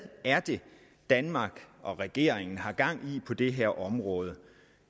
er det danmark og regeringen har gang i på det her område